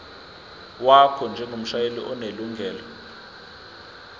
wakho njengomshayeli onelungelo